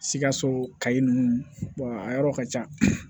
Sikaso kayi ninnu a yɔrɔ ka ca